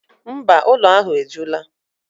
Mba, ụlọ ahụ ejula.